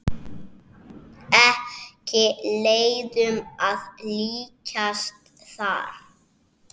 Ekki leiðum að líkjast þar.